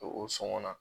O sɔngɔ na